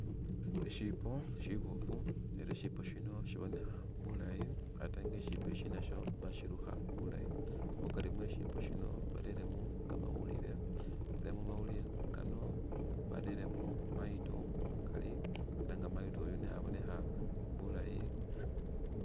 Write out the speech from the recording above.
Ishipo shibofu ela nga ishipo shino shibonekha bulayi ate nga ishipo shi nasho bashirukha bulayi mukari mwe shipo shino bareremo kamawulile ela mumawulile kano bareremo mayito umukali nenga mayito yu neya abonekha bulayi .